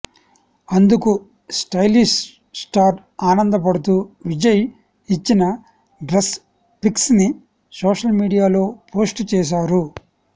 అందుకు stylish star ఆనందపడుతూ విజయ్ ఇచ్చిన డ్రెస్ పిక్స్ ని సోషల్ మీడియాలో పోస్ట్ చేశారు